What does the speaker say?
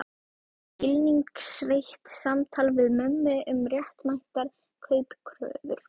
Skilningsríkt samtal við mömmu um réttmætar kaupkröfur.